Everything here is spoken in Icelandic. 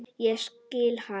Ég skil hana.